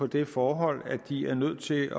det forhold at de er nødt til